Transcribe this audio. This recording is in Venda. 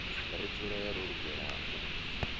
ri dzule ro lugela u